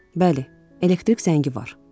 Bəli, elektrik zəngi var.